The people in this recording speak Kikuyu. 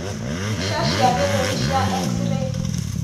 Mbica cia gĩthũri cia x-ray,